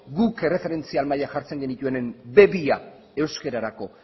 guk erreferentzia mailan jartzen genituenean be bia euskararako